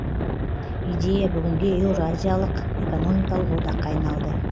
идея бүгінде еуроазиялық экономикалық одаққа айналды